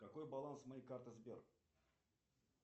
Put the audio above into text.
какой баланс моей карты сбер